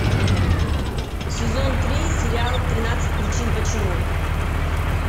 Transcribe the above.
сезон три сериал тринадцать причин почему